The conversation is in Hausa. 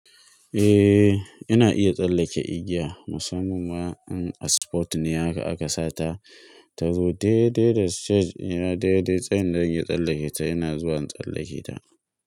Eh, ina iya tsallake igiya musamman ma in a sport ne haka aka sa ta. Tazo daidai da stage ɗina daidai tsayin da zan iya tsallake ta, ina zuwa in tsallake ta.